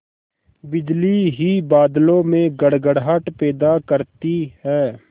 बिजली ही बादलों में गड़गड़ाहट पैदा करती है